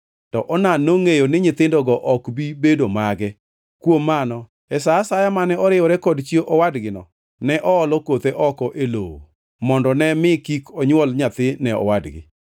To Onan nongʼeyo ni nyithindogo ok bi bedo mage, kuom mano e sa asaya mane oriwore kod chi owadgino; ne oolo kothe oko e lowo mondo ne mi kik onywol nyathi ne owadgi.